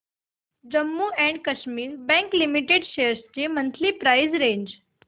Jammu and Kashmir bank limited shares ची monthly price range